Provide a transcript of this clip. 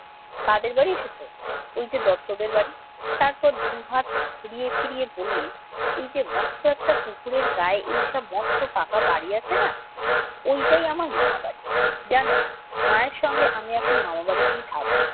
কাদের বাড়ি এসেছ? ওই যে দত্তদের বাড়ি। তারপর দু হাত ঘুরিয়ে ফিরিয়ে বললে, এই যে মস্ত একটা পুকুরের গায়ে এই যে মস্ত পাকা বাড়ি আছে না ওইটাই আমার মামা বাড়ি। জান, মায়ের সঙ্গে আমি এখন মামা বাড়িতেই থাকব।